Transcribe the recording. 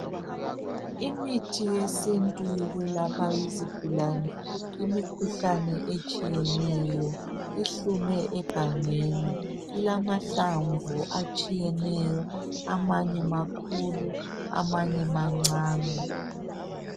Imithi yesintu yokwelapha izigulani imikhuhlane etshiyeneyo ihlume egangeni, ilamahlamvu atshiyeneyo amanye makhulu amanye mancane.